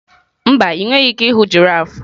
mba, ị nweghị ike ịhụ giraffes.